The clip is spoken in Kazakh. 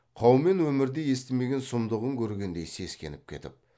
қаумен өмірде естімеген сұмдығын көргендей сескеніп кетіп